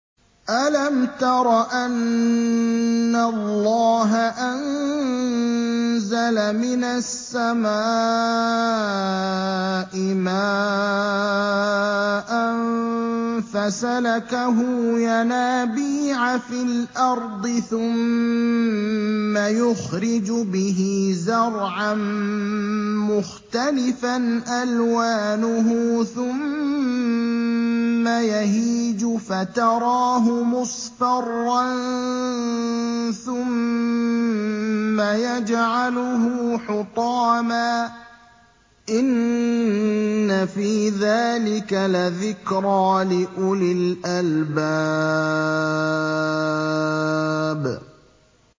أَلَمْ تَرَ أَنَّ اللَّهَ أَنزَلَ مِنَ السَّمَاءِ مَاءً فَسَلَكَهُ يَنَابِيعَ فِي الْأَرْضِ ثُمَّ يُخْرِجُ بِهِ زَرْعًا مُّخْتَلِفًا أَلْوَانُهُ ثُمَّ يَهِيجُ فَتَرَاهُ مُصْفَرًّا ثُمَّ يَجْعَلُهُ حُطَامًا ۚ إِنَّ فِي ذَٰلِكَ لَذِكْرَىٰ لِأُولِي الْأَلْبَابِ